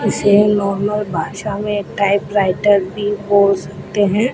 इसे नॉर्मल भाषा में टाइपराइटर भी बोल सकते हैं।